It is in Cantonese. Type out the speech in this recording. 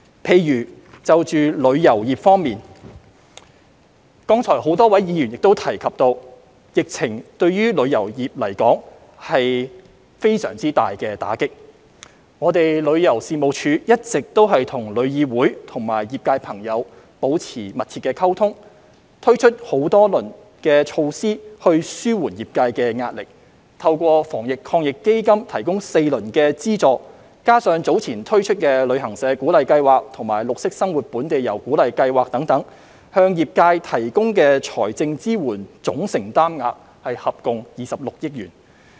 例如旅遊業方面，剛才很多位議員亦提及，疫情對旅遊業是非常大的打擊，旅遊事務署一直與香港旅遊業議會和業界朋友保持密切溝通，推出多輪措施紓緩業界的壓力，透過防疫抗疫基金提供4輪資助，加上早前推出的旅行社鼓勵計劃及綠色生活本地遊鼓勵計劃等，向業界提供的財政支援總承擔額合共接近26億元。